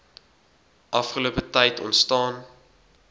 afgelope tyd ontstaan